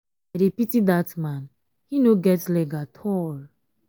i dey pity dat man he no get leg at all.